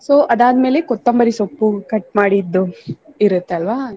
So ಅದಾದ್ಮೇಲೆ ಕೊತ್ತಂಬರಿ ಸೊಪ್ಪು cut ಮಾಡಿದ್ದು ಇರುತ್ತಲ್ವಾ.